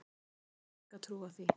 Nei ég hef enga trú á því.